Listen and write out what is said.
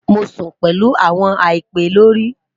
Mo sun pẹlu awọn àìpẹ lori